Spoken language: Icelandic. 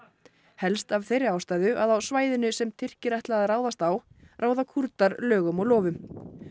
helst af þeirri ástæðu að á svæðinu sem Tyrkir ætla að ráðast á ráða Kúrdar lögum og lofum